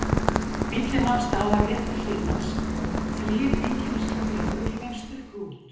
Bíllinn nam staðar rétt við hlið hans og þrír einkennisklæddir lögreglumenn stukku út.